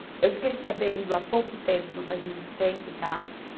Eu fiquei sabendo há pouco tempo, não faz muito tempo, tá?